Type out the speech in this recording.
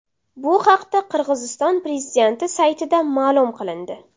Bu haqda Qirg‘iziston prezidenti saytida ma’lum qilindi .